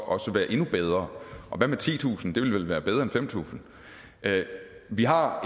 også være endnu bedre og hvad med titusind kr det ville vel være bedre end fem tusind kr vi har